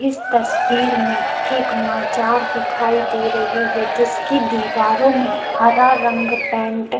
इस तस्वीर में एक मजार दिखाई दे रही है जिसकी दीवारों में हरा रंग पेंट --